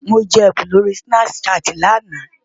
Mo jẹ ẹ̀bùn lórí Snapchat ní àná.